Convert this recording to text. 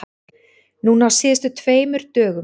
Núna á síðustu tveimur dögum.